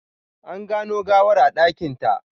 An gano gawar a dakinta.